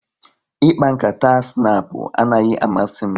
Ịkpa nkata snapu anaghị amasị m